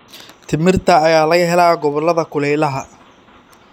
Timirta ayaa laga helaa gobollada kulaylaha.